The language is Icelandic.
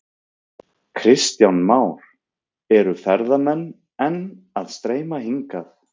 Kristján Már: Eru ferðamenn enn að streyma hingað?